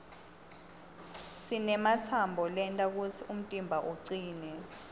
sinematsambo lenta kutsi umtimba ucine